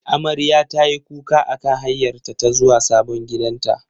Amarya tayi kuka akan hanyarta ta zuwa sabon gidanta.